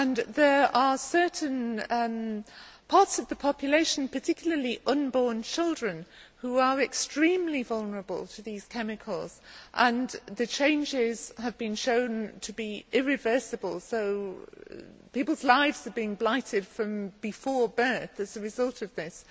There are certain parts of the population, particularly unborn children, who are extremely vulnerable to these chemicals, and the changes have been shown to be irreversible, so people's lives have been blighted from before birth as a result of this.